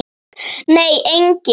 Nei, enginn.